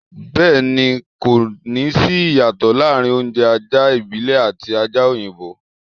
Bẹ́ẹ̀ ni, kò ní sí ìyàtọ̀ láàrin oúnjẹ ajá ìbílẹ̀ àti ajá òyinbọ́.